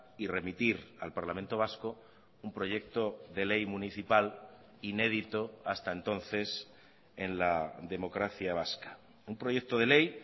y remitir al parlamento vasco un proyecto de ley municipal inédito hasta entonces en la democracia vasca un proyecto de ley